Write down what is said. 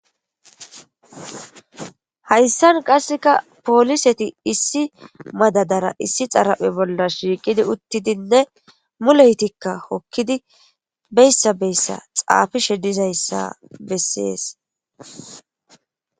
hayssan qasseka pooliseti issi madadara issi xaraphe bolla shiiqidi uttidinne muleytikka hokkidi beyssa beyssa xaafishe dizayssa bessees